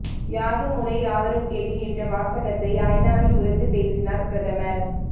யாதும் ஊரே யாவரும் கேளிர் என்ற வாசகத்தை ஐநாவில் உரத்து பேசினார் பிரதமர்